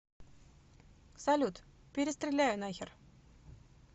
салют перестреляю нахер